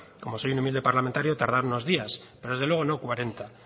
como soy un humilde parlamentario tardaron unos días pero desde luego no cuarenta